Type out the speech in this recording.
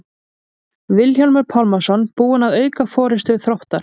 Vilhjálmur Pálmason búinn að auka forystu Þróttar.